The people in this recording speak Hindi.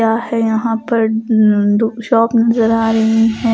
क्या है यहां पर दो शॉप नजर आ रही है ।